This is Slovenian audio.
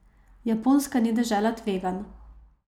Japonska ni dežela tveganj.